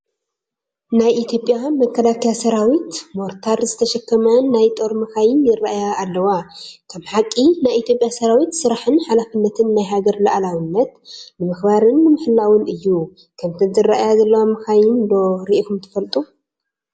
ናይ ኢ/ያ መከላከያ ሰራዊት ሞርታር ዝተሸከማ ናይ ጦር መካይን ይራኣያ ኣለዋ፡፡ ከም ሓቂ ናይ ኢ/ያ ሰራዊት ስራሕን ሓላፍነትን ናይ ሃገር ሉኣላዊነት ንምኽባርን ንምሕላውን እዩ፡፡ ከምተን ዝራኣያ ዘለዋ መካይን ዶ ሪኢኹም ትፈልጡ?